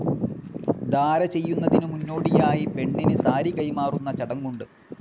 ധാര ചെയ്യുന്നതിനു മുന്നോടിയായി പെണ്ണിന് സാരി കൈമാറുന്ന ചടങ്ങുണ്ട്.